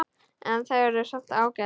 En þau eru samt ágæt.